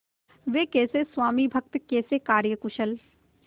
वे कैसे स्वामिभक्त कैसे कार्यकुशल